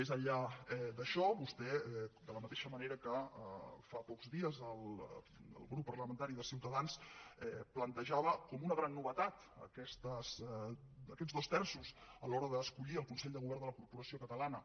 més enllà d’això vostè de la mateixa manera que fa pocs dies el grup parlamentari de ciutadans plantejava com una gran novetat aquests dos terços a l’hora d’escollir el consell de govern de la corporació catalana